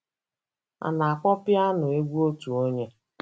A na-akpọ piano egwu otu onye.